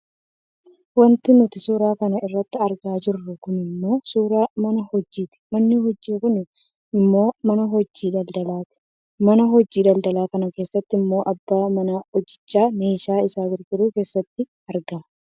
Wanti nuti suuraa kana irratti argaa jirru kun ammoo suuraa mana hojiiti. Manni hojii kun ammoo mana hojii daldaalaati. Mana hojii daldalaa kana keessatti ammoo abbaan mana hojichaa meeshaa isaa gurguruuf keessatti argama